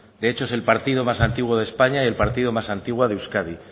de hecho es el partido más antiguo de españa y el partido más antiguo de euskadi